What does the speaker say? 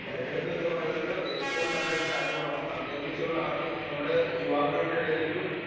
speaker 2 തെരഞ്ഞെടുപ്പ് എന്ന് പറയുന്നത് ഏറ്റവും നല്ല കാര്യമാണെന്നും അതിനെക്കുറിച്ചുള്ള നമ്മുടെ യുവാക്കൾക്കിടയിലൊള്ളൊരു